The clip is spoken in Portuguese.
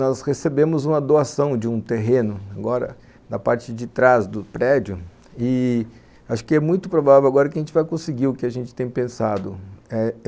Nós recebemos uma doação de um terreno, agora, na parte de trás do prédio e acho que é muito provável agora que a gente vai conseguir o que a gente tem pensado... eh...